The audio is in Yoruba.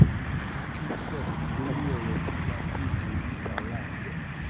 akinfe lórí ọ̀rọ̀ gbígba bẹ́ẹ́lí oníbàárà rẹ̀